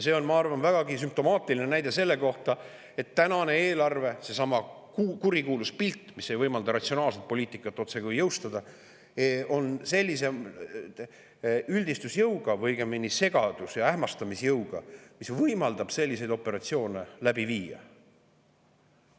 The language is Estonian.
See on, ma arvan, vägagi sümptomaatiline näide selle kohta, et tänane eelarve, seesama kurikuulus pilt, mis otsekui ei võimalda ratsionaalset poliitikat jõustuda, on sellise üldistusjõuga või õigemini segadus‑ ja ähmastamisjõuga, mis võimaldab selliseid operatsioone läbi viia.